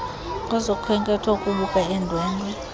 kwezokhenketho ukubuka iindwendwe